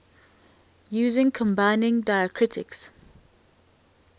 using combining diacritics